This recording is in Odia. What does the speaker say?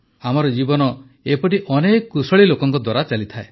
ଆମର ଜୀବନ ଏପରି ଅନେକ କୁଶଳୀ ଲୋକଙ୍କ ଦ୍ୱାରା ଚାଲେ